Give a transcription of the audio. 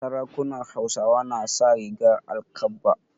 Sarakunan Hausawa na sa rigar alkabba.